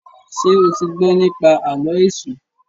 ṣe o tí gbó nipa Àló̩ Èṣù?